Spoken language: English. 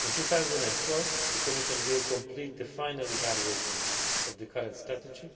In 2012 the Commission will complete the final evaluation of the current strategy